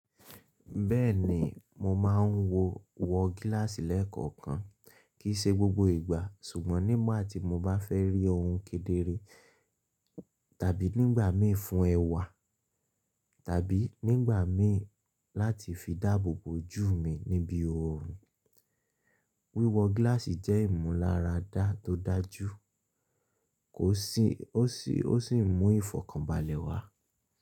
Bẹ́ẹ̀ni mo máà ń wọ gíláàsì lẹ́ẹ̀kọ̀kan, kì í ṣe gbogbo ìgbà, ṣùgbọ́n nígbà tí mo bá fẹ́ rí ohun kedere tàbí nígbà mí fún ẹwà tàbí nígbà mi láti fi dáàbò bo ojú mi níbí oòrùn. Wíwọ gíláàsì jẹ ìmúláradá to daju ó sì mú ìfọ̀kànbalẹ̀ wá.